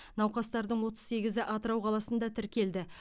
науқастардың отыз сегізі атырау қаласында тіркелді